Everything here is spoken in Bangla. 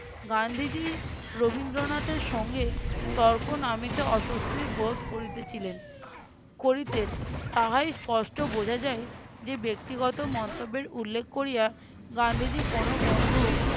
গান্ধীজী রবীন্দ্রনাথের সঙ্গে তর্ক না মিটে অস্বস্তি বোধ করিতেছিলেন করিতেন তাহাই স্পষ্ট বোঝা যায় যে ব্যক্তিগত মন্তব্যের উল্লেখ করিয়া গান্ধীজী কোনো বন্ধু-